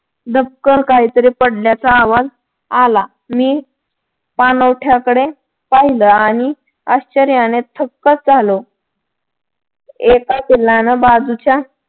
धबकणं काही तरी पडल्याचा आवाज आला. मी पाणवठ्याकडे पाहिलं आणि आश्चर्याने थक्कच झालो एका पिल्लान बाजूच्या